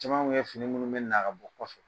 Caman tun ye fini minnu bɛ na ka bɔ kɔfɛ